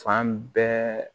Fan bɛɛ